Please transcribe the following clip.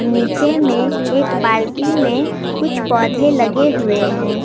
नीचे में एक बाल्टी में कुछ पौधे लगे हुए हैं।